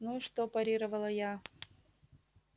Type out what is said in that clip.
ну и что парировала я